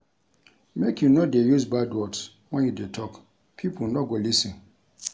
Make you no dey use bad words wen you dey tok, pipo no go lis ten.